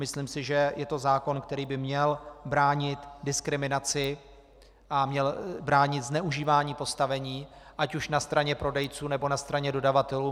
Myslím si, že je to zákon, který by měl bránit diskriminaci a měl bránit zneužívání postavení ať už na straně prodejců, nebo na straně dodavatelů.